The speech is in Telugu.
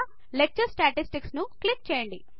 లెక్చర్ స్టాటిస్టిక్స్ ను క్లిక్ చేయండి